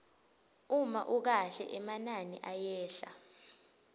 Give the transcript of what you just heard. uma ukahle emanani ayehla